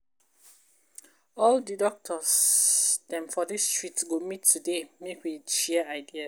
All di doctor dem for dis street go meet up today, make we share ideas.